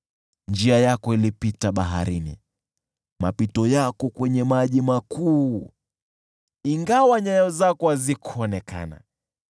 Njia yako ilipita baharini, mapito yako kwenye maji makuu, ingawa nyayo zako hazikuonekana.